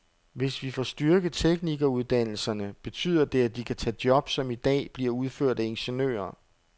Hvis vi får styrket teknikeruddannelserne, betyder det, at de kan tage job, som i dag bliver udført af ingeniører.